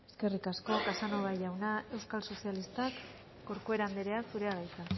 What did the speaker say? eskerrik asko casanova jaunak euskal sozialistak corcuera anderea zurea da hitza